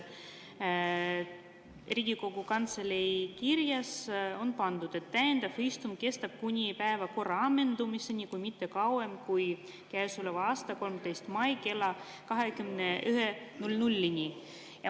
Riigikogu Kantselei kirjas on öeldud, et täiendav istung kestab kuni päevakorra ammendumiseni, kuid mitte kauem kui käesoleva aasta 13. mail kella 21.00‑ni.